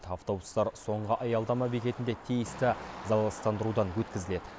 автобустар соңғы аялдама бекетінде тиісті залалсыздандырудан өткізіледі